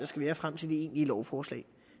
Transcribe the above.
skal være frem til det egentlige lovforslag